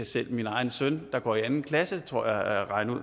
selv min egen søn der går i anden klasse